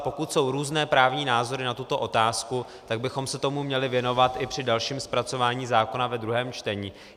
A pokud jsou různé právní názory na tuto otázku, tak bychom se tomu měli věnovat i při dalším zpracování zákona ve druhém čtení.